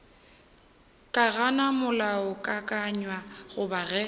ka gana molaokakanywa goba ge